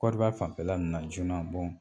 Côte d'Ivoire fanfɛla na joona